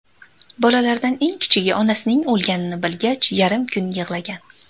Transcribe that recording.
Bolalardan eng kichigi onasining o‘lganini bilgach, yarim kun yig‘lagan.